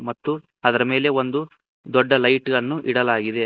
ಮತ್ತು ಅದರ ಮೇಲೆ ಒಂದು ದೊಡ್ಡ ಲೈಟ್ ಅನ್ನು ಇಡಲಾಗಿದೆ.